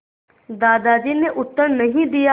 दादाजी ने उत्तर नहीं दिया